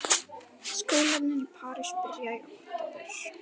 Skólarnir í París byrja í október.